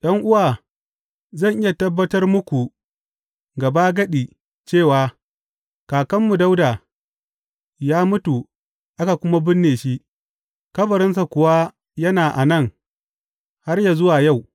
’Yan’uwa, zan iya tabbatar muku gabagadi cewa kakanmu Dawuda ya mutu aka kuma binne shi, kabarinsa kuwa yana a nan har yă zuwa yau.